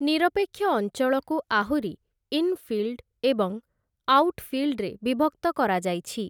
ନିରପେକ୍ଷ ଅଞ୍ଚଳକୁ ଆହୁରି 'ଇନ୍‌ଫିଲ୍ଡ' ଏବଂ 'ଆଉଟଫିଲ୍ଡ'ରେ ବିଭକ୍ତ କରାଯାଇଛି ।